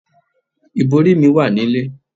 Ìbòrí mi wà nílé.